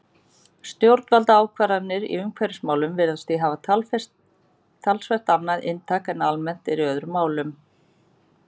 Stjórnvaldsákvarðanir í umhverfismálum virðast því hafa talsvert annað inntak en almennt er í öðrum málum.